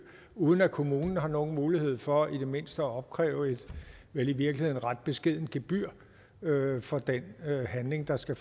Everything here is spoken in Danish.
uden at kommunen har nogen mulighed for i det mindste at opkræve et vel i virkeligheden ret beskedent gebyr for den handling der skal